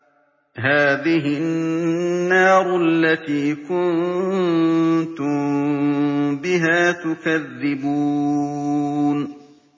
هَٰذِهِ النَّارُ الَّتِي كُنتُم بِهَا تُكَذِّبُونَ